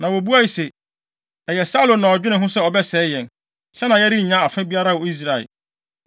Na wobuae se, “Ɛyɛ Saulo na ɔdwenee ho sɛ ɔbɛsɛe yɛn, sɛnea yɛrennya afa biara wɔ Israel.